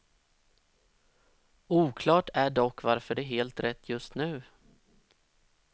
Oklart är dock varför det är helt rätt just nu.